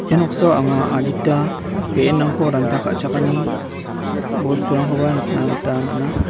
ia noksao anga adita be·enrangko ranta ka·chakani bosturangkoba nikna gita man·a.